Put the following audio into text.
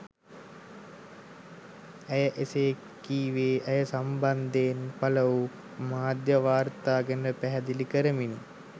ඇය එසේ කීවේ ඇය සම්බන්ධයෙන් පළවූ මාධ්‍ය වාර්තා ගැන පැහැදිලි කරමිනි.